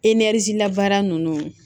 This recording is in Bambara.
labaara ninnu